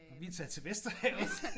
Og vi er taget til Vesterhavet!